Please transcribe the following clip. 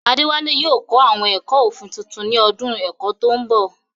Adewale yóò kọ́ àwọn ẹ̀kọ́ òfin tuntun ní ọdún ẹ̀kọ́ tó ń bọ̀.